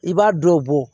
I b'a dɔ bɔ